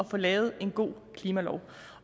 få lavet en god klimalov